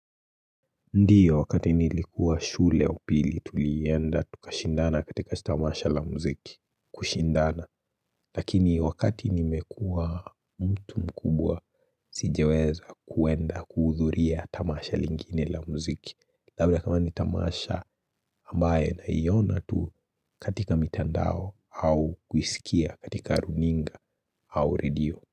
Ndiyo wakati nilikuwa shule ya pili tulienda tukashindana katika tamasha la muziki kushindana Lakini wakati nimekuwa mtu mkubwa sijaweza kuenda kuudhuria tamasha lingine la muziki Labda kama ni tamasha ambaye na iona tu katika mitandao au kuisikia katika runinga au redio.